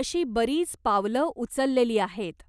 अशी बरीच पावलं उचललेली आहेत.